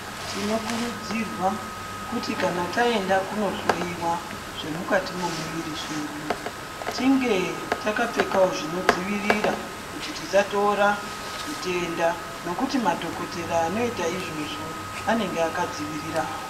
Tinokurudzirwa kuti kana taenda kuno hloiwa zvemukati memuviri zvedu tinge takapfekawo zvinodzivirira kuti tisatora zvitenda nokuti madhokodhera anoita izvozvo anenge akadzivirira.